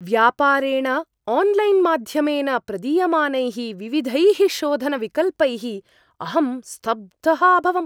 व्यापारेण आन्लैन्-माध्यमेन प्रदीयमानैः विविधैः शोधनविकल्पैः अहं स्तब्धः अभवम्।